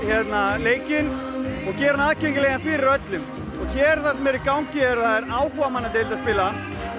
leikinn og gera hann aðgengilegan fyrir öllum hér það sem er í gangi er áhugamannadeild að spila